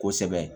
Kosɛbɛ